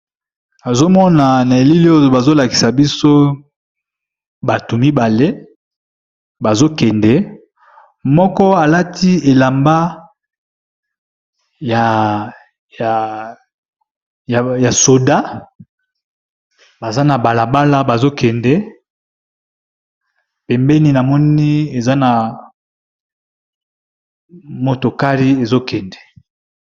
Nazomona na bilili oyo bazolakisa biso bato mibale bazokende moko alati elamba ya soda baza na balabala bazokende pembeni na moni eza na motokari ezokende.